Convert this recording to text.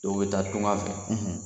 Dɔw be taa tunga fɛ